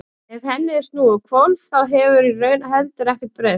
Ef henni er snúið á hvolf þá hefur í raun heldur ekkert breyst.